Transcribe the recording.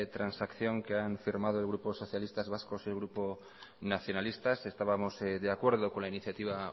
transacción que han firmado el grupo socialistas vascos y el grupo nacionalistas estábamos de acuerdo con la iniciativa